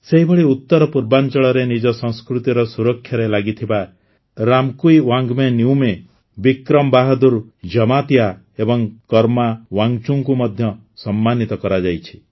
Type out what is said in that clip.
ସେହିଭଳି ଉତରପୂର୍ବାଂଚଳରେ ନିଜ ସଂସ୍କୃତିର ସୁରକ୍ଷାରେ ଲାଗିଥିବା ରାମକୁଈୱାଙ୍ଗ୍ବେ ନିଉମେ ବିକ୍ରମ ବାହାଦୂର ଜମାତିଆ ଏବଂ କରମା ୱାଙ୍ଗଚୁଙ୍କୁ ମଧ୍ୟ ସମ୍ମାନୀତ କରାଯାଇଛି